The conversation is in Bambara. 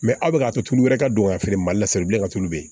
Mɛ aw bɛ k'a to tulu wɛrɛ ka don ka feere mali la salibilen ka tulu bɛ yen